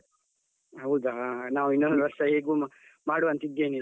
ಹೌದಾ, ನಾವ್ ಇನ್ನೊಂದು ವರ್ಷ ಹೇಗೂ ಮಾಡುವ ಅಂತ ಇದ್ದೇನೆ.